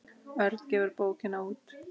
Örn gefur bókina út.